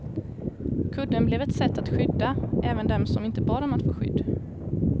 Kudden blev ett sätt att skydda även dem som inte bad om att få skydd.